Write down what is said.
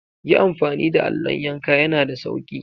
Yi amfani da allon yanka yan da sauki.